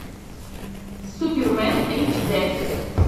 супермен эйч дэ